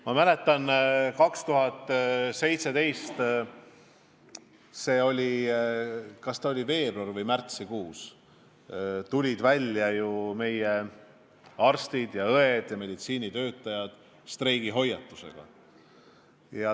Ma mäletan, et see oli 2017. aasta veebruari- või märtsikuus, kui meie arstid ja õed tulid välja streigihoiatusega.